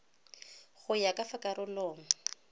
go ya ka fa karolong